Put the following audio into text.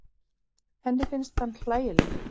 Henni finnst hann hlægilegur.